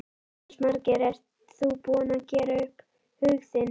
Jónas Margeir: Ert þú búinn að gera upp hug þinn?